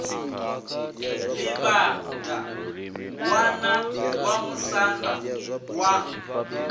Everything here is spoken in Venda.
livhaṋda ṋwana wa musanda wa